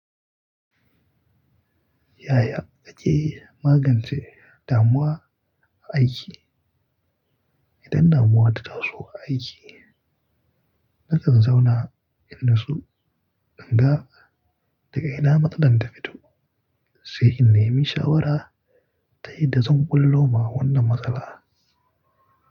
Yaya ake magance damuwa a aiki? Idan damuwa ta taso a aiki, kar ka zauna in nasu ɗanga daga ina matsalar ta fito, sai in nemi shawara tayi da zun ɓullo ma wannan matsala.